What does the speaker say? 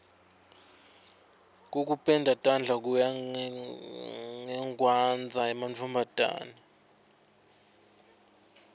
kokupenda tandla kuya ngekwandza emantfombataneni